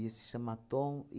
ia se chama Tom.